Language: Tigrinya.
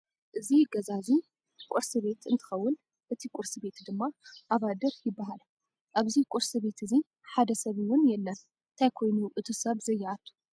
ዚ ገዛ እዚ ቁርሲ ቤት እንትከውን እቲ ቁርስቤት ድማ ኣባድር ይበሃል። ኣብዚ ቁርስቤት እዚ ሓደ ሰብ እውን የለን። እንታይ ኮይኑ እቁ ሰብ ዘይኣትዎ?